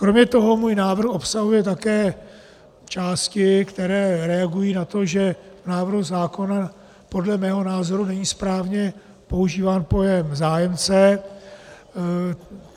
Kromě toho můj návrh obsahuje také části, které reagují na to, že v návrhu zákona podle mého názoru není správně používán pojem "zájemce".